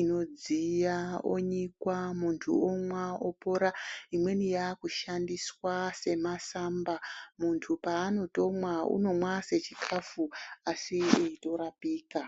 inodziya onyikwa muntu omwa opora. Imweni yaakushandiswa semasamba muntu paanotomwa unomwa sechikafu asi eitorapika.